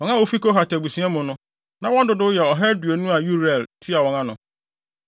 Wɔn a wofi Kohat abusua mu no, na wɔn dodow yɛ ɔha aduonu a Uriel tua wɔn ano.